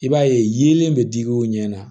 I b'a ye yelen bɛ digi o ɲɛ na